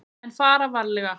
En fara varlega.